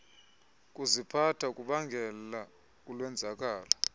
kuziphatha kubangela ulwenzakalo